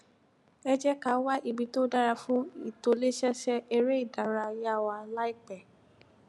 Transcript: ẹ jé ká wá ibi tó dára fún ìtòlésẹẹsẹ eré ìdárayá wa láìpé